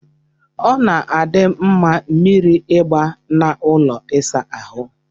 Ọ na-adị mma mmiri ịgba na ụlọ ịsa ahụ.